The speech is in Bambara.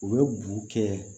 U bɛ bugu kɛ